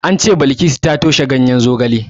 An ce Bilkisu ta toshe ganyen zogale.